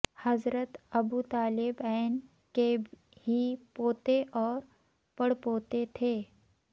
حضرت ابوطالب ع کے ہی پوتے اور پڑپوتے تھے